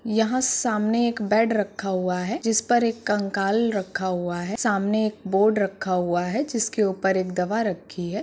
यहाँ सामने एक बेड रखा हुआ है जिस पर एक कंकाल रखा हुआ है | सामने एक बोर्ड रखा हुआ है जिसके ऊपर एक दवा रखी है।